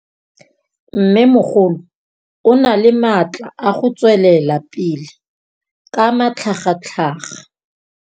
Mmêmogolo o na le matla a go tswelela pele ka matlhagatlhaga.